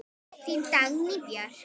Þín Dagný Björk.